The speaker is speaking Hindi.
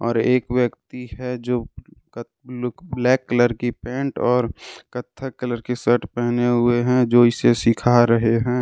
और एक व्यक्ति है जो ब्लैक कलर की पेंट और कथा कलर की शर्ट पहने हुए हैं जो इसे सीखा रहे हैं।